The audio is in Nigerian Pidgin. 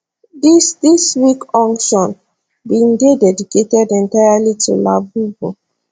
dis dis week auction bin dey dedicated entirely to labubu